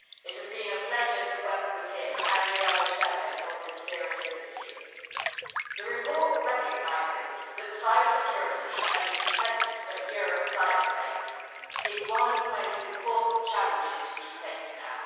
It has been a pleasure to work with him and the other shadows on this serious issue. The report recognises that cybersecurity and the defence of Europe's cyberspace is one of the most important challenges that we face now.